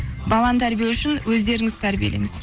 баланы тәрбиелеу үшін өздеріңізді тәрбиелеңіздер